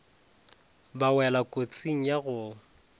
ba wela kotsing ya go